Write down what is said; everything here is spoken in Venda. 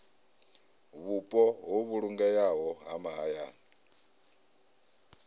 vhupo ho vhulungeaho ha mahayani